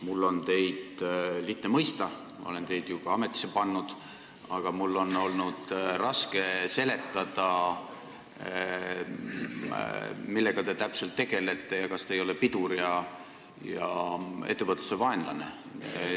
Mul on teid lihtne mõista – ma olen teid ju ka ametisse pannud –, aga mul on olnud raske seletada, millega te täpselt tegelete ja kas te ei ole mitte pidur ja ettevõtluse vaenlane.